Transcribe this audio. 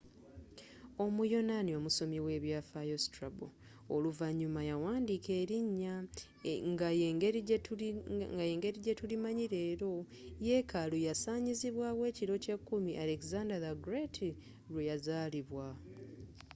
omuyonaani omusomi w'ebyaafaayo strabo oluvannyuma yawandiika erinnya nga yengeri jetulimanyi leero yeekaalu yasaanyizibwaawo ekiro kyeekimu alexandar the great lweyazaalibwa